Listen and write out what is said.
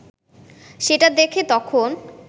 সেটা দেখে তখন